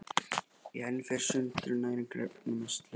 Í henni fer sundrun næringarefnanna að mestu leyti fram.